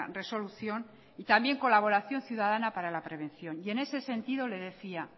resolución y también colaboración ciudadana para la prevención en ese sentido le decía